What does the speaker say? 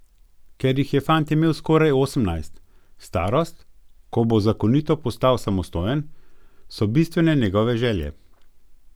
Ker jih je fant imel skoraj osemnajst, starost, ko bo zakonito postal samostojen, so bistvene njegove želje.